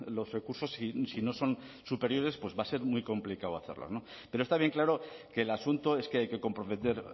los recursos si no son superiores va a ser muy complicado hacerlo pero está bien claro que el asunto es que hay que comprometer